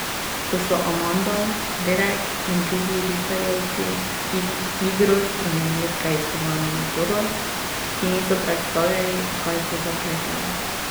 Ko so Amanda, dedek in drugi ripperjevci igro spremenili v preiskovalno metodo, si niso predstavljali, v kaj se zapletajo.